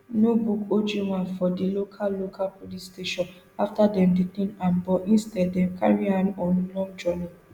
no book ojwang for di local local police station afta dem detain am but instead dem carry am on long journey